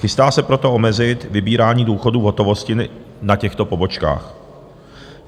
Chystá se proto omezit vybírání důchodů v hotovosti na těchto pobočkách.